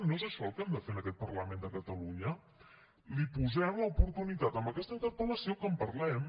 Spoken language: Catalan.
no és això el que hem de fer en aquest parlament de catalunya li posem l’oportunitat amb aquesta interpel·lació que en parlem